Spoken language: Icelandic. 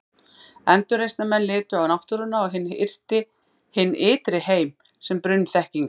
Endurreisnarmenn litu á náttúruna og hinn ytri heim sem brunn þekkingar.